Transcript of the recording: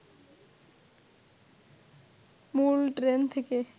মূল ট্রেন থেকে